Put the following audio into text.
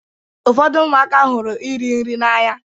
Ụfọdụ ụmụaka hụrụ iri nri n'anya.